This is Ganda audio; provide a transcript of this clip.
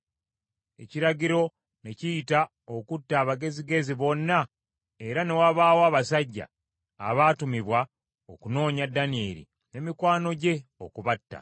Ekiragiro ne kiyita okutta abagezigezi bonna, era ne wabaawo abasajja abaatumibwa okunoonya Danyeri ne mikwano gye okubatta.